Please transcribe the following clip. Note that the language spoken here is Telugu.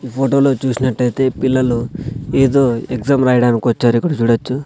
ఈ ఫోటో లో చూసినట్టయితే పిల్లలు ఏదో ఎగ్జామ్ రాయడానికి వచ్చారు ఇక్కడ చూడచ్చు.